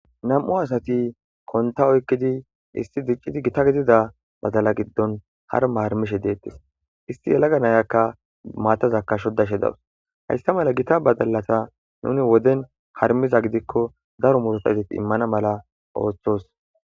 nam7u asati konta oykkidi isti diccidi gita gidida badala giddon harma harmishe deettis isti yalaga nayakka maatazakka shodashe dawus hayssa mala gita badalata nuni woden harmiza gidikko daro murotatit immana mala ooththos